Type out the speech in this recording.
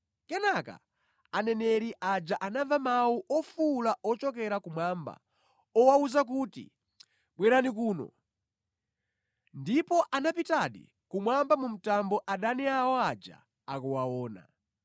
Kenaka aneneri aja anamva mawu ofuwula ochokera kumwamba owawuza kuti, “Bwerani kuno.” Ndipo anapitadi kumwamba mu mtambo adani awo aja akuwaona.